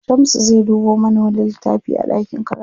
Shamsu zai dubo mana wani littafi a ɗakin karatu.